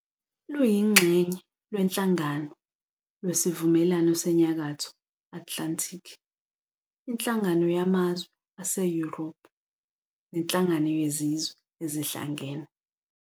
luyiNxenye lweNhlangano lwesiVumelano seNyakatho Atlanthiki, iNhlangano yamaZwe aseYuropu, neNhalangano yeZizwe eziHlangene.